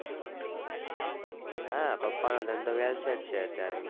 હા પપ્પાનો ધંધો velset છે અત્યારે